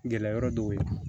Gɛlɛya yɔrɔ dɔw ye